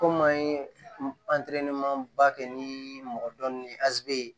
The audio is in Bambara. Komi an ye ba kɛ ni mɔgɔ dɔn ni azi ye